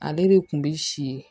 Ale de kun bi si ye